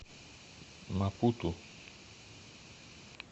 мапуту